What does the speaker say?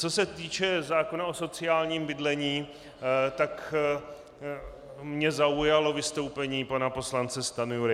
Co se týče zákona o sociálním bydlení, tak mě zaujalo vystoupení pana poslance Stanjury.